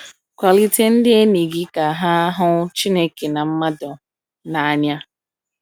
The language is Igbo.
Kwalite ndị enyi gị ka ha hụ Chineke na mmadụ n’anya.